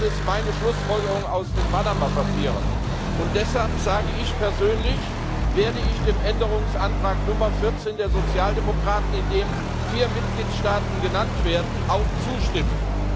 Das ist meine Schlussfolgerung aus den Panama Papieren. Und deshalb sage ich Persönlich werde ich dem Änderungsantrag Nummer 14 der Sozialdemokraten, in dem vier Mitgliedstaaten genannt werden, auch zustimmen.